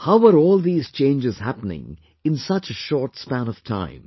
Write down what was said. How are all these changes happening in such a short span of time